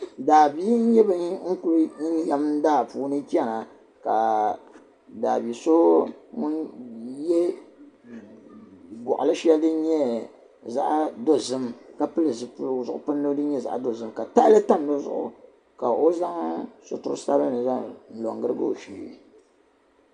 Daabihi n nyɛ bin kuli yɛm daa puuni chana ka daabi so ŋun yɛ guɣili shɛli din nyɛ zaɣ' dozim ka pili zipiligu din nyɛ zaɣ 'dozim ka tahali tam di zuɣu ka o zaŋ situri sabinli n lo girigi o shee